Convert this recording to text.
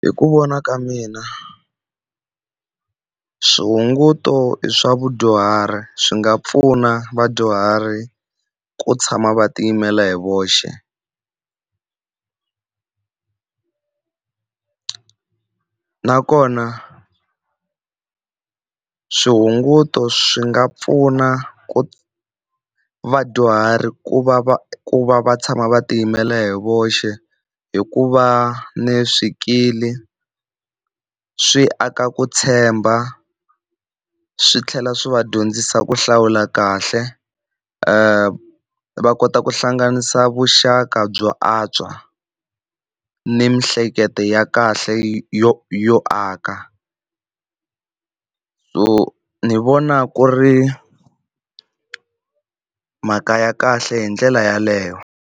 Hi ku vona ka mina swihunguto i swa vadyuhari swi nga pfuna vadyuhari ku tshama va tiyimela hi voxe nakona swihunguto swi nga pfuna ku vadyuhari ku va va ku va va tshama va tiyimela hi voxe hi ku va ni swikili swi aka ku tshemba swi tlhela swi va dyondzisa ku hlawula kahle va va kota ku hlanganisa vuxaka byo antswa ni miehleketo ya kahle yo yo aka. So ni vona ku ri mhaka ya kahle hi ndlela yeleyo.